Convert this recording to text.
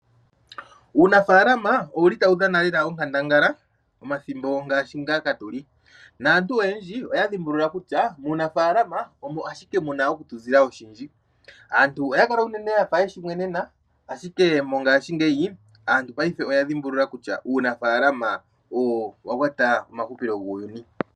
Uunafalama owuli tawu dhana lela onkandangala momathimbo ngaashi ngaka tuli, naantu oyendji oya dhi mbulula kutya uunafalama omo ashike muna oku tu ziza oshindji. Aantu oya kala unene yafa yeshi mwenena, ashike mongaashingeyi aantu paife oya dhi mbulula kutya uunafalama owa kwata uuhupilo wuuyuni.